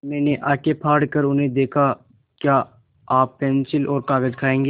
मैंने आँखें फाड़ कर उन्हें देखा क्या आप पेन्सिल और कागज़ खाएँगे